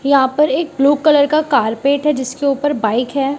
यहां पर एक ब्लू कलर का कारपेट है जिसके ऊपर बाइक है।